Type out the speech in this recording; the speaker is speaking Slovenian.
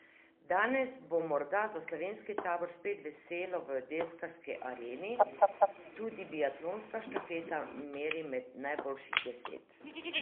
Danes bo morda za slovenski tabor spet veselo v deskarski areni, tudi biatlonska štafeta meri med najboljših deset ...